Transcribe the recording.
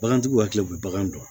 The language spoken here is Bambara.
Bagantigiw hakili bɛ bagan dɔn